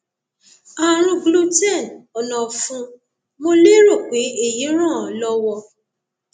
ààrùn gluten ọnà ọfun mo lérò pé èyí ràn án lọwọ